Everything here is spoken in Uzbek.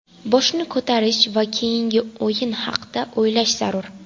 Boshni ko‘tarish va keyingi o‘yin haqida o‘ylash zarur.